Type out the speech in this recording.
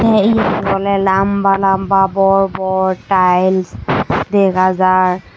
tey yetun oley lamba lamba bor bor taels dega jai.